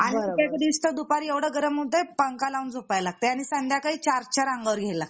दुपारी एवढं गरम होत पंखा लावून झोपायला लागत हे आणि संध्याकाळी चार चार अंगावर घ्यावे लागतात